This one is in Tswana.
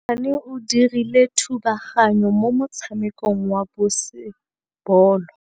Mosimane o dirile thubaganyô mo motshamekong wa basebôlô.